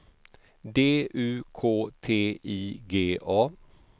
D U K T I G A